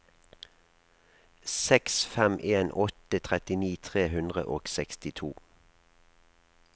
seks fem en åtte trettini tre hundre og sekstito